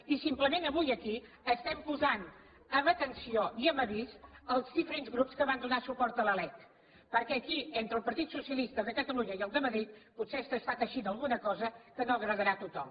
i simplement avui aquí estem posant en atenció i en avís els diferents grups que van donar suport a la lec perquè aquí entre el partit socialista de catalunya i el de madrid potser s’està teixint alguna cosa que no agradarà a tothom